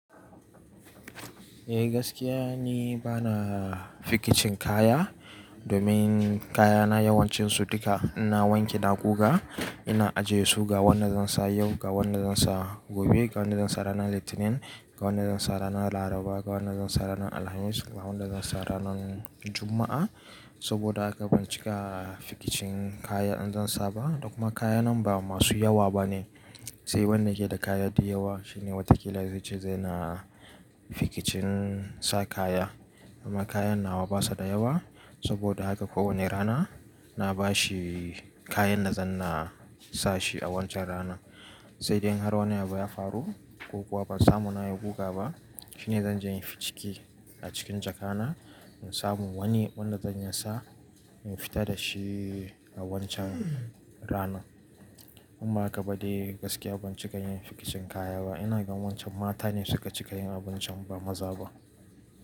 Eh gaskiya ni bana fikicin kaya domin kayana yawancinsu duka ina wanke ina guga ina ajiye su ga wanda zan sa yau, ga wanda zan sa gobe, ga wanda zan sa ranar Litinin, ga wanda zan sa ranar Laraba, ga wanda zan sa ranar Alhamis, ga wanda zan sa ranar Juma'a. Saboda haka ban cika fikicin kaya in zan sa ba, da kuma kayanan ba masu yawa bane. Sai wanda yake da kaya dsyawa shine watakila zai ce zai na fikicin sa kaya. Amma kayan nawa basa da yawa saboda haka kowane rana na bashi kayan da zan na sashi a wancan rana. Sai dai in har wani abu ya faru ko kuwa ba samu nayi guga ba shine zan je in yi ficiki a cikin jaka na in samu wani wanda zan iya sa in fita da shi a wancan rana. In ba haka ba dai gaskiya ban cika yin fikicin kaya ba. Ina gan wancan mata ne suka cika yin abun can ba maza ba.